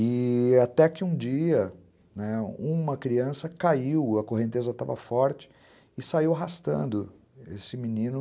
E até que um dia, né, uma criança caiu, a correnteza estava forte, e saiu arrastando esse menino